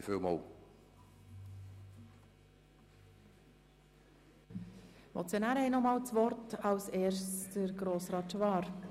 Die Motionäre haben nochmals das Wort, zuerst Grossrat Schwaar.